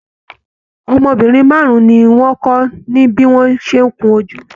Ọmọbìnrin márùn ní wọn kọ ní bí wọn ṣe n kún ojú.